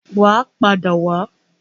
Wà á padà wá.